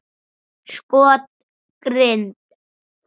Skot: Grind.